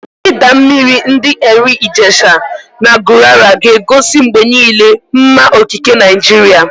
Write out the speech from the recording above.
Idaa mmiri ndi Erin Ijesha na Gurara ga na-egosi mgbe niile mma okike Naijiria.